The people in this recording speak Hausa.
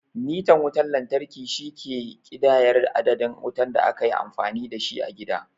Mitan wutan lantarki, shi ke ƙidayar adadin wutar da aka yi amfani da shi a gida.